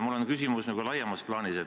Mul on küsimus laiemas plaanis.